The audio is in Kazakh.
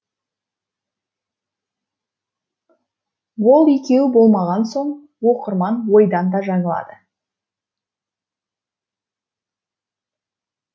ол екеуі болмаған соң оқырман ойдан да жаңылады